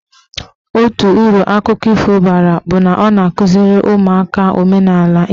Otu uru akụkọ ifo bara bụ na ọ na-akụziri ụmụaka maka omenaala Igbo.